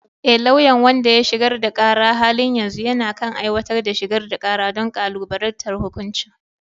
E, lauyan wanda ya shigar da kara a halin yanzu yana kan aiwatar da shigar da kara don kalubalantar hukuncin